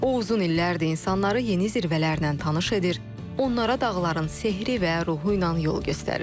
O uzun illərdir insanları yeni zirvələrlə tanış edir, onlara dağların sehri və ruhu ilə yol göstərir.